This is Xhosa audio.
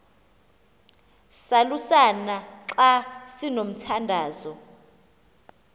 salusana xa sinomthandazo